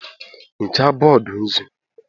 hichaa bọọdụ nzu